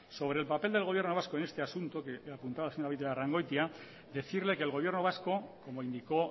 sobre el papel del gobierno vasco en este asunto que apuntaba la señora beitialarrangoitia decirle que el gobierno vasco como indicó